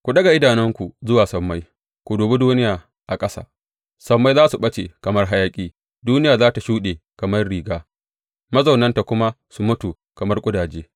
Ku daga idanunku zuwa sammai ku dubi duniya a ƙasa; sammai za su ɓace kamar hayaƙi, duniya za tă shuɗe kamar riga mazaunanta kuma su mutu kamar ƙudaje.